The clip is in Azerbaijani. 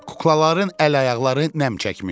Kuklaların əl-ayaqları nəm çəkmişdi.